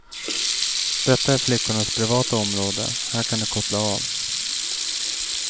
Detta är flickornas privata område, här kan de koppla av.